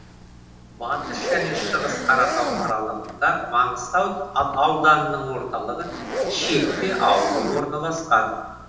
батыс және шығыс қаратау аралығында маңғыстау ауданының орталығы шетпе ауылы орналасқан